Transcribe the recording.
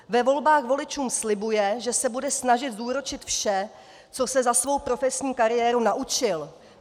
Ve volbách voličům slibuje, že se bude snažit zúročit vše, co se za svou profesní kariéru naučil.